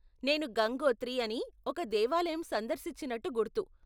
నేను గంగోత్రి అని ఒక దేవాలయం సందర్శించినట్టు గుర్తు.